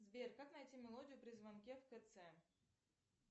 сбер как найти мелодию при звонке в кц